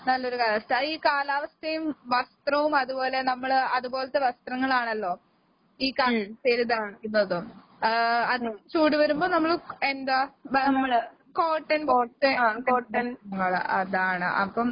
നല്ലൊരു കാലാവസ്ഥ. ഈ കാലാവസ്ഥയും വസ്ത്രവും അതുപോലെ നമ്മള് അതുപോലത്തെ വസ്ത്രങ്ങളാണല്ലോ ഈ കാലാവസ്ഥേല് ധരിക്കുന്നത് ഏഹ് അധികം ചൂട് വരുമ്പൊ നമ്മള് എന്താ കോട്ടന്റെ അതാണ്. അപ്പം